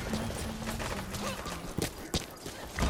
machame koama metit